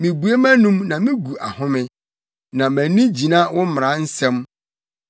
Mibue mʼanom na migu ahome, na mʼani gyina wo mmara nsɛm.